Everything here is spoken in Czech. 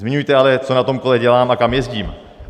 Zmiňujte ale, co na tom kole dělám a kam jezdím.